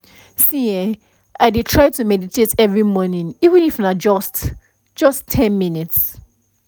see[um]i dey try to meditate every morning even if na just just ten minutes